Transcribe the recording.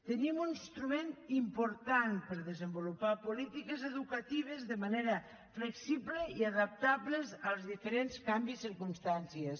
tenim un instrument important per a desenvolupar polítiques educatives de manera flexible i adaptables als diferents canvis de circumstàncies